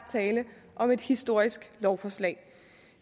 tale om et historisk lovforslag